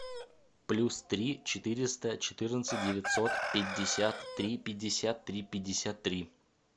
плюс три четыреста четырнадцать девятьсот пятьдесят три пятьдесят три пятьдесят три